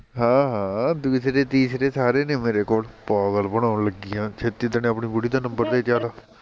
ਹਾਂ ਹਾਂ ਦੂਸਰੇ ਤੀਸਰੇ ਸਾਰੇ ਨੇ ਮੇਰੇ ਕੋਲ, ਪਾਗਲ ਬਣਾਉਣ ਲੱਗੀ ਆ, ਛੇਤੀ ਦਣੇ ਆਪਣੀ ਬੁੜੀ ਦਾ ਨੰਬਰ ਦੇ ਚੱਲ